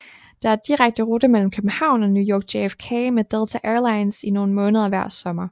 Der er direkte rute mellem København og New York JFK med Delta Airlines i nogle måneder hver sommer